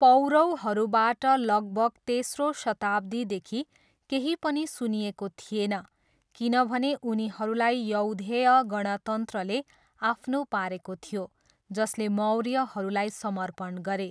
पौरवहरूबाट लगभग तेस्रो शताब्दीदेखि केही पनि सुनिएको थिएन किनभने उनीहरूलाई यौधेय गणतन्त्रले आफ्नो पारेको थियो, जसले मौर्यहरूलाई समर्पण गरे।